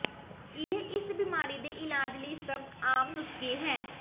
ਇਹ ਇਸ ਬਿਮਾਰੀ ਦੇ ਇਲਾਜ ਲਈ ਸਭ ਆਮ ਨੁਸਖੇ ਹੈ